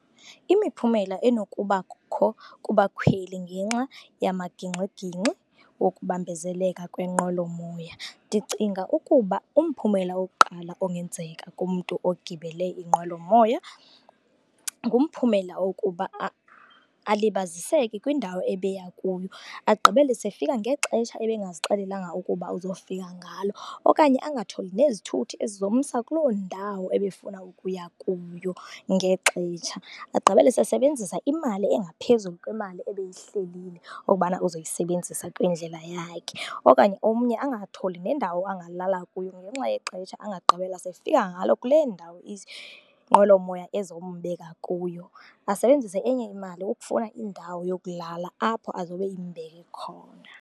Imiphumela enokubakho kubakhweli ngenxa yamagingxigingxi wokubambezeleka kwenqwelomoya, ndicinga ukuba umphumela wokuqala ongenzeka kumntu ogibele inqwelomoya ngumphumela wokuba alibaziseke kwindawo ebeya kuyo. Agqibele seyefika ngexesha ebengazixelelanga ukuba uzofika ngalo okanye angatholi nezithuthi ezizomsa kuloo ndawo ebefuna ukuya kuyo ngexesha. Agqibele seyesebenzisa imali engaphezulu kwemali ebeyihlelile ukubana uzoyisebenzisa kwindlela yakhe. Okanye omnye angatholi nendawo angalala kuyo ngenxa yexesha angagqibela seyefika ngalo kule ndawo inqwelomoya ezombeka kuyo, asebenzise enye imali ukufuna indawo yokulala apho azobe imbeke khona.